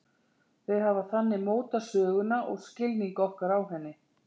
Þau hafa þannig mótað söguna og skilning okkar á henni.